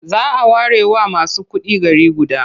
A whole city may be reserved for only the rich.